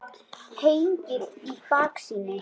Hengill í baksýn.